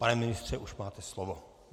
Pane ministře, už máte slovo.